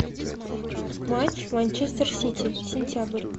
матч манчестер сити сентябрь